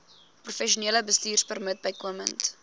professionele bestuurpermit bykomend